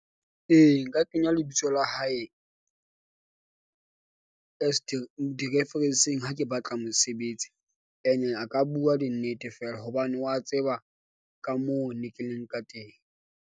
E, nka kenya lebitso la hae di-reference-eng. Ha ke batla mosebetsi ene, a ka bua di nnete feela hobane wa tseba ka moo ne ke leng ka teng.